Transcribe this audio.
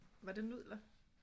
Var det nudler